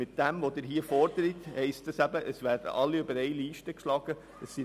Die Forderung der Motion führt dazu, dass alle über einen Leisten geschlagen werden.